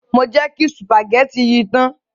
Mo jẹ kí sùpàgétì yẹn ta.